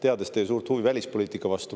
Ma tean teie suurt huvi välispoliitika vastu.